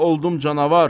oldum canavar.